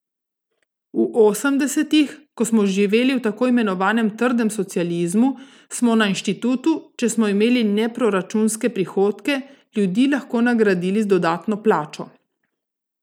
V osemdesetih, ko smo živeli v tako imenovanem trdem socializmu, smo na inštitutu, če smo imeli neproračunske prihodke, ljudi lahko nagradili z dodatno plačo.